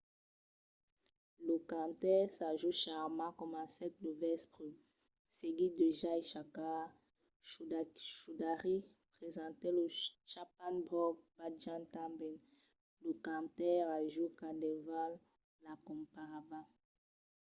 lo cantaire sanju sharma comencèt lo vèspre seguit de jai shakar choudhary presentèt lo chhappan bhog bhajan tanben. lo cantaire raju khandelwal l'acompanhava